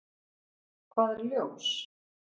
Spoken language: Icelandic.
Hvað er ljós?